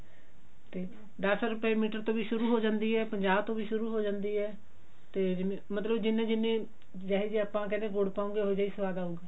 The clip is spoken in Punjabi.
ਤੇ ਦਸ ਰੁਪੇ ਮੀਟਰ ਤੋਂ ਵੀ ਸ਼ੁਰੂ ਹੋ ਜਾਂਦੀ ਹੈ ਪੰਜਾਹ ਤੋਂ ਵੀ ਸ਼ੁਰੂ ਹੋ ਜਾਂਦੀ ਹੈ ਤੇ ਮਤਲਬ ਜਿੰਨੇ ਜਿੰਨੇ ਕਹਿੰਦੇ ਜਿਹੋਜਿਹਾ ਗੁੜ ਪਾਵਾਂਗੇ ਉਹਿਜਿਹਾ ਹੀ ਸਵਾਦ ਆਉਗਾ